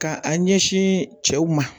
Ka a ɲɛsin cɛw ma